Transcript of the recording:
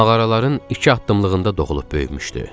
Mağaraların iki addımlığında doğulub böyümüşdü.